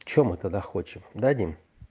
что мы тогда хочем да дим